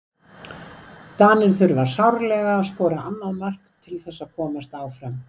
Danir þurfa sárlega að skora annað mark til þess að komast áfram.